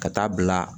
Ka taa bila